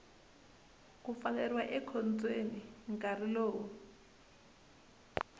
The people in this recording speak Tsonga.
ku pfaleriwa ekhotsweni nkarhi lowu